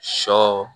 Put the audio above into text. Sɔ